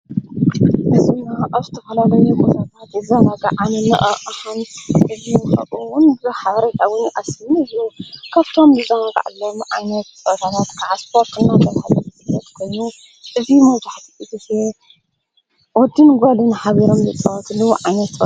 ንሕና ኣፍተ ኸላዶይ ብነባት ዘነግዓን እዚ ኡውን ብሓበሪ ጣውኒ ኣስቢኒ ዙ ካብቶም ብዛዉ ቓዕሎም ዓነትታናት ተዓስጶርትና ተብሃብት ነድጐኑ እዙ መባሕቲ ጊሴ ወቲን ጓድም ኃቢሮም ሉጸወኽሉ ኣነጸበ።